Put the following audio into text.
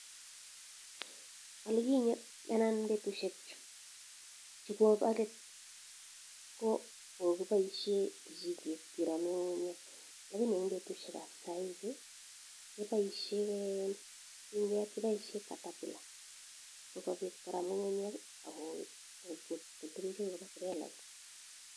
Petushek chebo let kokipaishe kijiket kerame ng'ung'unyek, lakini petushek ap saizi kepaishe catapillar sikopit koram ng'ung'unyek akotumchin trelait.